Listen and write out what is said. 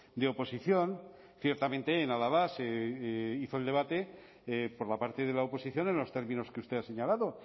de oposición ciertamente en álava se hizo el debate por la parte de la oposición en los términos que usted ha señalado